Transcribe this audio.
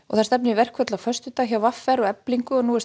það stefnir í verkföll á föstudag hjá v r og Eflingu og nú er